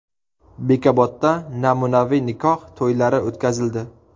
Bekobodda namunaviy nikoh to‘ylari o‘tkazildi.